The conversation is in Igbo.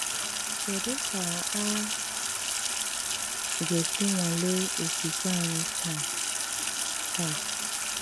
Kédú kà á gà-ésí nwàlè ókwùkwé ányị́ táá? táá?